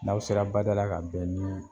N'aw sera bada la ka bɛn nii